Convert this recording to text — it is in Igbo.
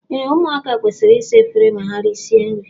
Ee ụmụaka kwesịrị ịsa efere ma erisia nri.